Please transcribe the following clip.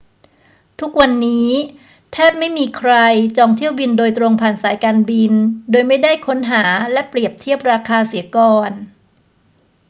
ทุกวันนี้แทบไม่มีใครจองเที่ยวบินโดยตรงผ่านสายการบินโดยไม่ได้ค้นหาและเปรียบเทียบราคาเสียก่อน